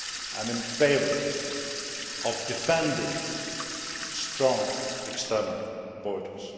I am in favour of defending strong external borders